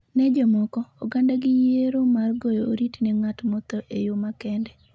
ne jomoko, oganda gi yiero mar goyo oriti ne ng’at motho e yo makende.